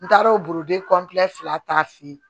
N taar'o boro de fila ta feyi